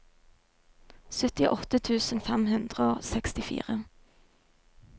syttiåtte tusen fem hundre og sekstifire